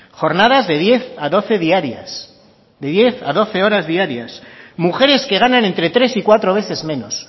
jornadas de diez a doce diarias de diez a doce horas diarias mujeres que ganan entre tres y cuatro veces menos